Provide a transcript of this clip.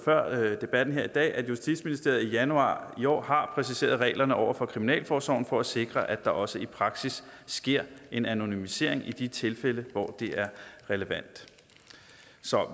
før debatten her i dag at justitsministeriet i januar i år har præciseret reglerne over for kriminalforsorgen for at sikre at der også i praksis sker et anonymisering i de tilfælde hvor det er relevant